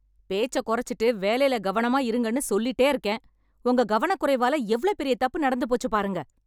பேச்ச கொறச்சிட்டு வேலைல கவனமா இருங்கன்னு சொல்லிட்டே இருக்கேன்... உங்க கவனக்குறைவால எவ்ளோ பெரிய தப்பு நடந்துபோச்சு பாருங்க.